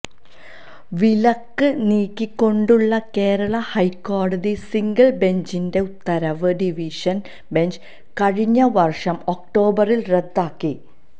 വിലക്ക് നീക്കിക്കൊണ്ടുള്ള കേരള ഹൈക്കോടതി സിംഗിള് ബെഞ്ചിന്റെ ഉത്തരവ് ഡിവിഷന് ബെഞ്ച് കഴിഞ്ഞവര്ഷം ഒക്ടോബറില് റദ്ദാക്കി